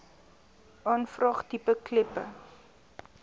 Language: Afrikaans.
aanvraag tipe kleppe